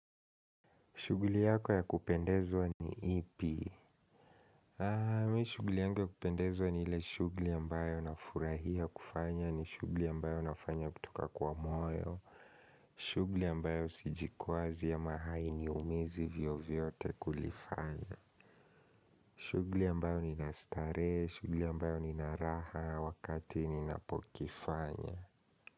Shuguli yako ya kupendezwa ni ipi? Haa, mi shuguli yangu ya kupendezwa ni ile shuguli ambayo nafurahia kufanya ni shuguli ambayo nafanya kutoka kwa moyo. Shuguli ambayo sijikwazi ama hainiumizi vyovyote kulifanya. Shuguli ambayo ni nastarehe, shuguli ambayo ni naraha wakati ni napokifanya.